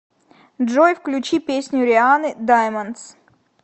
джой включи песню рианны даймондс